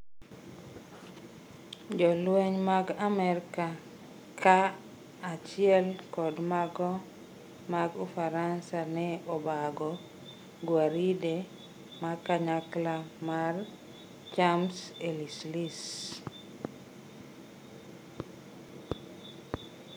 Jolweny mag Amerka ka achiel kod mago mag Ufaransa ne obago gwaride makanyakla mar Champs-Elysees.